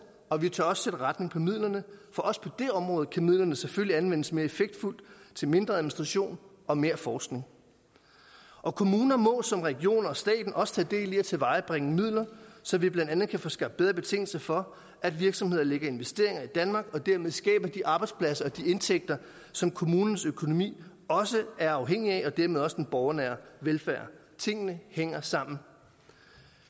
og vi tør også sætte retning på midlerne for også på det område kan midlerne selvfølgelig anvendes mere effektfuldt til mindre administration og mere forskning kommuner må som region og stat også tage del i at tilvejebringe midler så vi blandt andet kan få skabt bedre betingelser for at virksomheder lægger investeringer i danmark og dermed skaber de arbejdspladser og de indtægter som kommunens økonomi også er afhængig af og dermed også den borgernære velfærd tingene hænger sammen